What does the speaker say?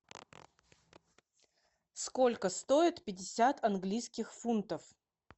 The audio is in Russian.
сколько стоит пятьдесят английских фунтов